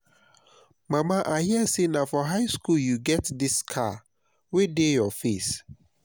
mama i hear say na for high school you get dis scar wey dey your face